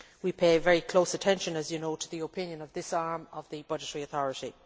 We pay very close attention, as you know, to the opinion of this arm of the budgetary authority.